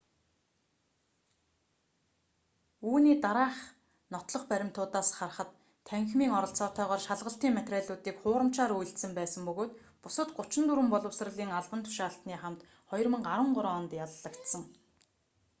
үүний дараах нотлох баримтуудаас харахад танхимын оролцоотойгоор шалгалтын материалуудыг хуурамчаар үйлдсэн байсан бөгөөд бусад 34 боловсролын албан тушаалтны хамт 2013 онд яллагдсан